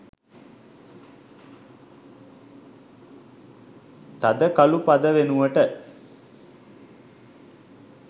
තද කලු පද වෙනුවට